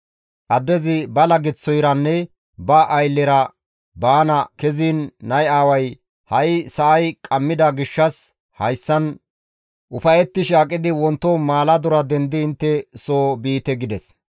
Addezi ba laggeththoyranne ba ayllera baana keziin nay aaway, «Ha7i sa7ay qammida gishshas hayssan ufayettishe aqidi wonto maaladora dendidi intte soo biite» gides.